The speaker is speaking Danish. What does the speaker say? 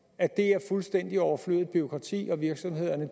at det er fuldstændig overflødigt bureaukrati og at virksomhederne